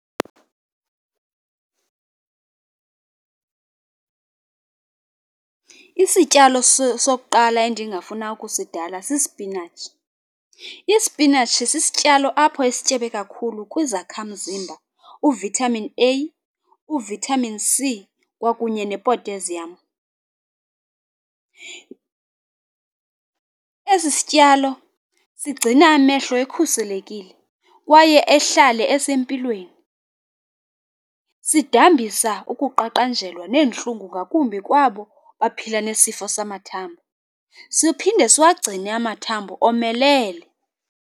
Isityalo sokuqala endingafuna ukusidala sisipinatshi. Isipinatshi sisityalo apho esityebe kakhulu kwizakhamzimba uVitamin A, uVitamin C, kwakunye ne-potassium. Esi sityalo sigcina amehlo ekhuselekile kwaye ahlale esempilweni. Sidambisa ukuqaqanjelwa neentlungu ngakumbi kwabo baphila nesifo samathambo, siphinde siwagcine amathambo omelele.